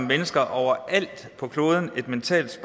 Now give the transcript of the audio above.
mennesker overalt på kloden et mentalt